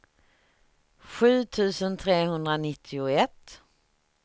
sju tusen trehundranittioett